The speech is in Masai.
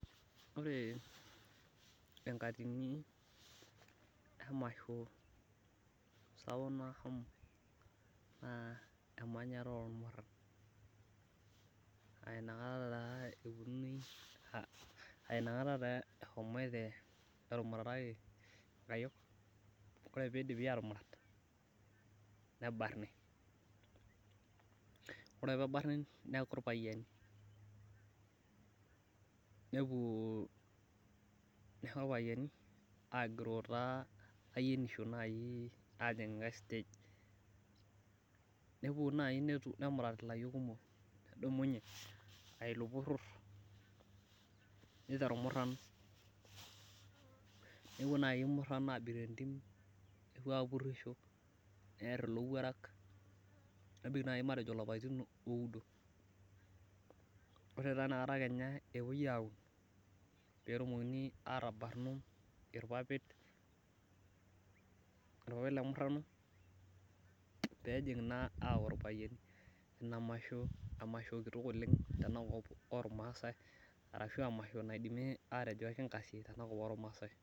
ore enkatini emasho apuk nahomo naa emanyata oo ilmuran, aa inakata taa etumurataki inkayiok ore ake pee idipi atumurat nebarni, neeku ilpayiani, nejing enkaei stage nepuo naaji nemurat ilayiok kumok nedumunye aa iloporor, nepuo naaji ilmuran abik tentim nepurusho, neer ilowuorak nemik naji ilapaitin oudo , nepuonu naaji metabarnunu ilpapit lemurano, ore peejing naa aku ilpayiani inamasho nikingasie iyiok kira ilmaasai.